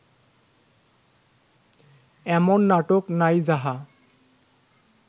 এমন নাটক নাই যাহা